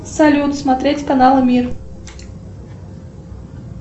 салют смотреть канал мир